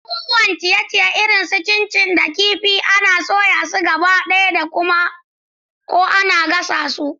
Abubuwan ciye-ciye irin su chin chin da kifi kifi ana soya su gabaɗaya ko kuma ana gasa su.